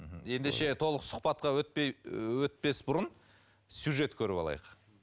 мхм ендеше толық сұхбатқа өтпей өтпес бұрын сюжет көріп алайық